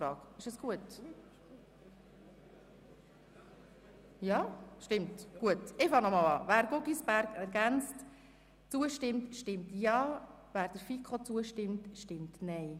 Wer diese annehmen will, stimmt Ja, wer der Planungserklärung der FiKo-Mehrheit zustimmt, stimmt Nein.